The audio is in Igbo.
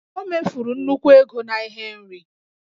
O mefuru nnukwu ego na ihe nri